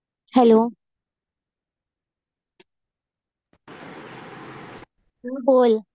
Hello बोल.